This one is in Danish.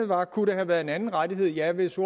var kunne det have været en anden rettighed ja hvis